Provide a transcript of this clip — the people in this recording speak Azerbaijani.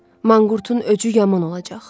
Manqurtun öcü yaman olacaq.